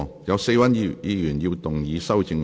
有4位議員要動議修正案。